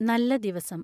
നല്ല ദിവസം